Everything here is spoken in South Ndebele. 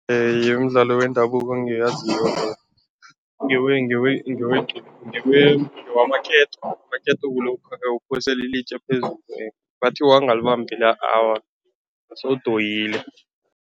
Imidlalo wendabuko engiyaziko ngewamaketo. Amaketo kulokha nawuphosela ilitje phezulu, bathi wangalibambi la, awa sewudoyile.